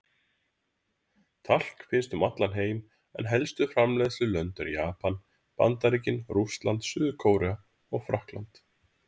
Talk finnst um allan heim en helstu framleiðslulönd eru Japan, Bandaríkin, Rússland, Suður-Kórea og Frakkland.